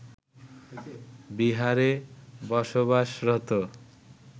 বিহারে বসবাসরত